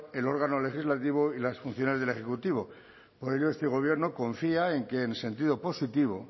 el órgano legislativo y las funciones del ejecutivo por ello este gobierno confía en que en sentido positivo